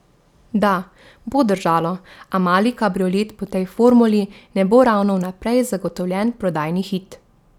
Da, bo držalo, a mali kabriolet po tej formuli ne bo ravno vnaprej zagotovljen prodajni hit.